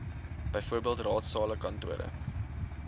bv raadsale kantore